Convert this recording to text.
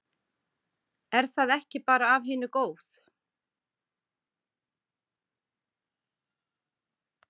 Er það ekki bara af hinu góð?